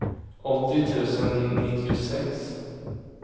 åttio tusen nittiosex